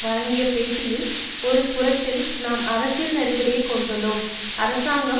வழங்கிய பேட்டியில் ஒரு புறத்தில் நாம் அரசியல் நெருக்கடியை கொண்டுள்ளோம் அரசாங்கம்